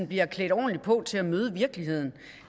bliver klædt ordentligt på til at møde virkeligheden